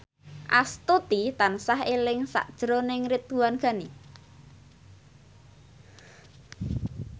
Astuti tansah eling sakjroning Ridwan Ghani